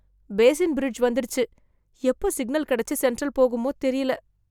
Basin Bridge வந்திருச்சு, எப்ப signal கெடச்சு சென்ட்ரல் போகுமோ தெரியல.